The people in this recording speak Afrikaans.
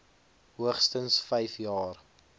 hoogstens vyf jaar